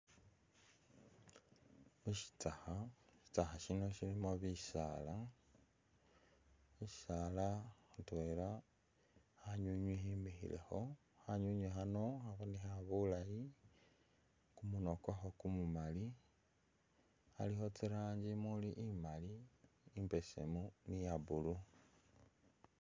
Mushitsakha, shitsakha shino shilimo bisaala, shisaala syitwela khanywinywi khimikhilekho, khanywinywi khano khabonekha bulayi, kumunwa kwakho kumumali, khalikho tsi rangi muli imali, imbesemu ni iya blue.